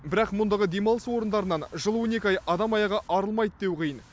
бірақ мұндағы демалыс орындарынан жыл он екі ай адам аяғы арылмайды деу қиын